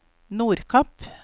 Nordkapp